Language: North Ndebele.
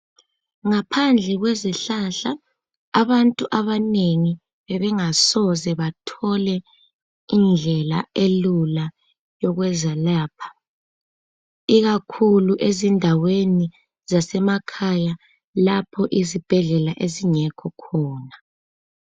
Ngaphandle kwezihlahla abantu abanengi bebengasoze bathole indlela elula ekwezelapha ikakhulu ezindaweni zasemakhaya lapho izibhedlela ezingekho khona.